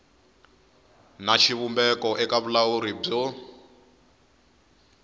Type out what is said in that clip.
na xivumbeko eka vulawuri byo